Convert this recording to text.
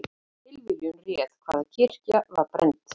Tilviljun réð hvaða kirkja var brennd